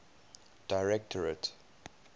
directorate